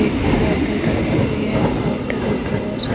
एक की बोतल रखी हुई है काउंटर के ऊपर बहुत सारे --